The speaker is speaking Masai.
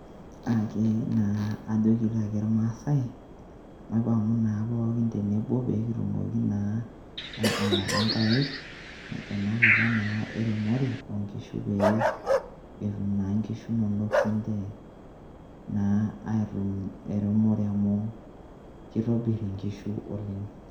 naa kajoki taake irmaasai maipang'u naa pooki tenebo peekitumoki naa aibung'ata nkaik tenakata naa eremore oonkishu, naa pee etum naa ssniche inkishu inonok eremore amu kitobir inkishu oleng'.